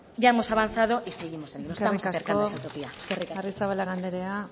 ya hemos avanzado y seguimos avanzando nos estamos acercando a esa utopía eskerrik asko eskerrik asko arrizabalaga anderea